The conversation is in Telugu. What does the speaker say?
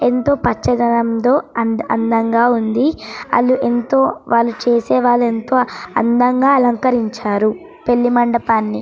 ఎంతో పచ్చదనంతో అందంగా ఉంది వాళ్ళు ఎంతో చేసేవాళ్ళు ఎంతో అందంగా అలంకరించారు పెళ్లి మండపాన్ని.